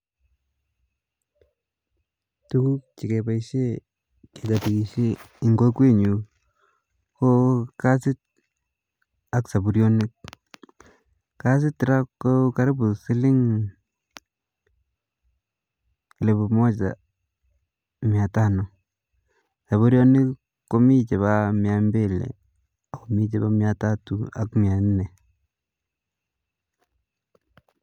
Tukuk chekibaishen en kokwet nyun